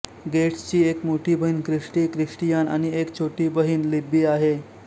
गेट्सची एक मोठी बहीण क्रिस्टी क्रिस्टियान आणि एक छोटी बहिणी लिब्बी आहे